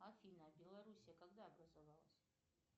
афина белоруссия когда образовалась